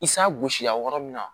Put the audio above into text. I san gosila yɔrɔ min na